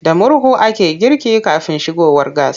Da murhu ake girki kafin shigowar gas.